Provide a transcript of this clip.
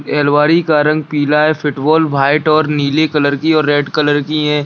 ये अलमारी का रंग पीला है फुटबॉल व्हाइट और नीले कलर की और रेड कलर की है।